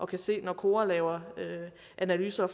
kan se det når kora laver analyser og